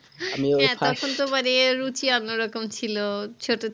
এতক্ষন তো মানে রুচি অন্য রকম ছিলো ছোটো